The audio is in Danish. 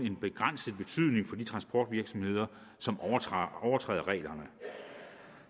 en begrænset betydning for de transportvirksomheder som overtræder reglerne